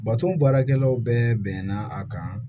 Baton baarakɛlaw bɛɛ bɛnna a kan